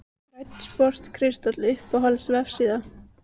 Grænn sport kristall Uppáhalds vefsíða?